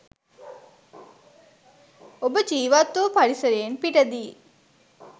ඔබ ජීවත්වූ පරිසරයෙන් පිටදී